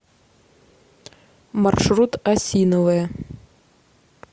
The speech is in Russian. маршрут осиновая